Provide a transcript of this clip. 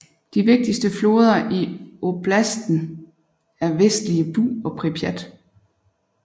De vigtigste floder i oblastenen er Vestlige Bug og Pripjat